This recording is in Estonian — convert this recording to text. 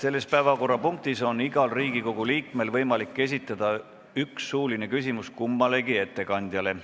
Selle päevakorrapunkti arutelul on igal Riigikogu liikmel võimalik esitada üks suuline küsimus kummalegi ettekandjale.